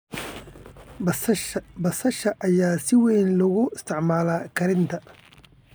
Basasha ayaa si weyn loogu isticmaalaa karinta.